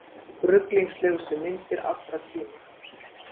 Ruglingslegustu myndir allra tíma